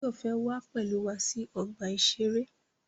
Báyọ̀ fẹ́ wá pẹ̀lú wa sí ọgbà-ìṣeré